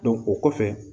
o kɔfɛ